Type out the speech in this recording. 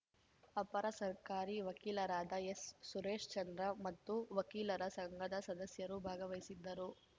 ಅಪರ ಸರ್ಕಾರಿ ವಕೀಲರಾದ ಎಸ್‌ಸುರೇಶ್‌ ಚಂದ್ರ ಮತ್ತು ವಕೀಲರ ಸಂಘದ ಸದಸ್ಯರು ಭಾಗವಹಿಸಿದ್ದರು